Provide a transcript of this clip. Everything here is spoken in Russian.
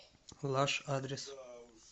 лаш адрес